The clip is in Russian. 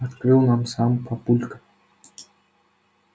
открыл нам сам папулька